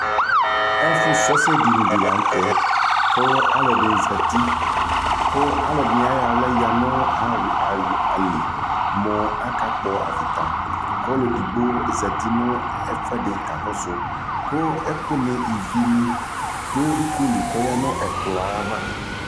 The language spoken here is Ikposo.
ɛƒʋ srɔ ɛsɛ dini lantɛ kʋ alʋɛdini zati kʋ alʋɛdini ayɔ ala yanʋ ali mʋ aka kpɔ aviata kʋ ɔlʋɛ ɛdigbɔ zati nʋ ɛƒʋɛdi kakɔsʋ kʋ ɛkʋ ni ivini dʋ ikɔli kʋ ɔyanʋ ɛkplɔɛ aɣa